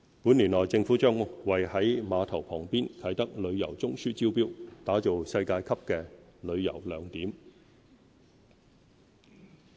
本年內政府將為在碼頭旁邊的"啟德旅遊中樞"招標，打造世界級的旅遊亮點。